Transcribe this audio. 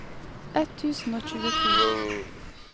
ett tusen og tjueto